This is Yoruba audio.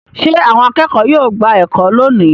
Ṣé àwọn akẹ́kọ̀ọ́ yóò gba ẹ̀kọ́ lónìí?